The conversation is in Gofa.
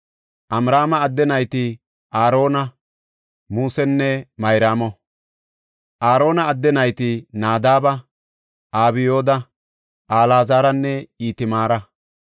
Amraama adde nayti Aarona, Musenne Mayraamo. Aarona adde nayti Nadaaba, Abyooda, Alaazaranne Itamaara.